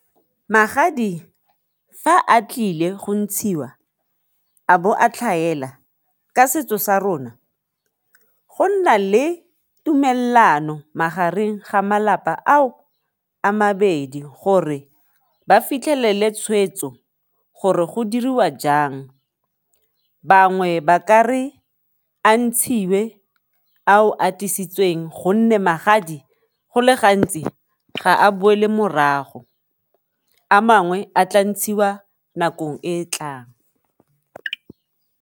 Magadi fa a tlile go ntshiwa a bo a tlhaela ka setso sa rona go nna le tumelelano magareng ga malapa ao a mabedi gore ba fitlhelele tshweetso gore go diriwa jang, bangwe ba kare a ntshiwe ao a tlisitsweng gonne magadi go le gantsi ga a boele morago, a mangwe a tla ntshiwa nakong e tlang.